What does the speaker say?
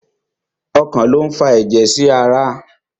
Ọkàn lo n fà ẹjẹ sí ará